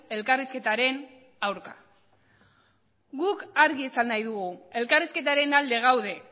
elkarrizketaren aurka guk argi esan nahi dugu elkarrizketaren alde gaude